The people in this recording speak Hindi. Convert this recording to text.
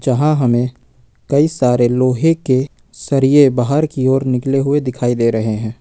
यहां हमे कई सारे लोहे के सरिए बाहर की ओर निकले हुवे दिखाई दे रहे है।